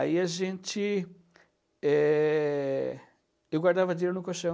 Aí a gente é... Eu guardava dinheiro no colchão.